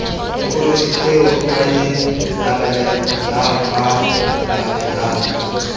tokoloho eo a e labalabelang